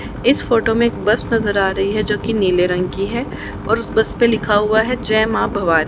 इस फोटो में एक बस नजर आ रही है जो कि नीले रंग की है और उस बस पे लिखा हुआ है जय मां भवा--